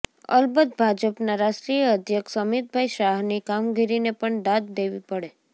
અલબત્ત ભાજપનાં રાષ્ટ્રીય અધ્યક્ષ અમિતભાઈ શાહની કામગીરીને પણ દાદ દેવી પડે